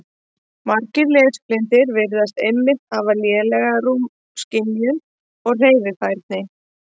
Margir lesblindir virðast einmitt hafa lélega rúmskynjun og hreyfifærni.